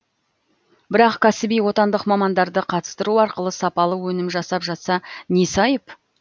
бірақ кәсіби отандық мамандарды қатыстыру арқылы сапалы өнім жасап жатса несі айып